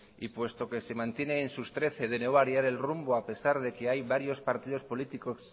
y puesto que se mantiene en sus trece de no variar el rumbo a pesar de que hay varios partidos políticos